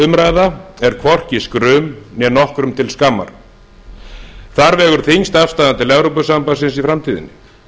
umræða er hvorki skrum né nokkrum til skammar þar vegur þyngst afstaðan til evrópusambandsins í framtíðinni